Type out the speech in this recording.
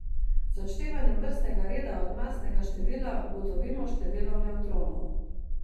Z odštevanjem vrstnega števila od masnega števila ugotovimo število nevtronov.